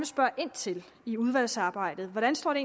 spørge ind til i udvalgsarbejdet hvordan står det